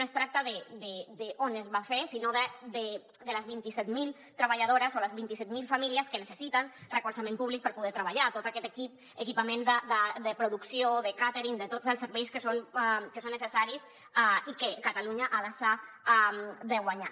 no es tracta d’on es va fer sinó de les vint set mil treballadores o les vint set mil famílies que necessiten recolzament públic per poder treballar tot aquest equip equipament de producció de càtering de tots els serveis que són necessaris i que catalunya ha deixat de guanyar